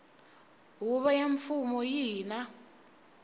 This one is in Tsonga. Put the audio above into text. huvo ya mfumo yihi na